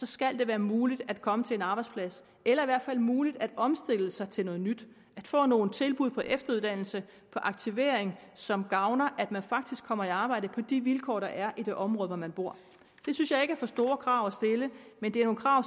skal det være muligt at komme til en arbejdsplads eller i hvert fald muligt at omstille sig til noget nyt at få nogle tilbud på efteruddannelse på aktivering som gavner at man faktisk kommer i arbejde på de vilkår der er i det område hvor man bor det synes jeg ikke er for store krav at stille men det er nogle krav